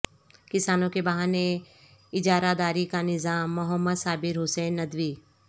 کسانوں کے بہانے اجارہ داری کا نظام محمد صابر حسین ندوی